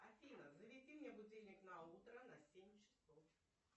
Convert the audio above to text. афина заведи мне будильник на утро на семь часов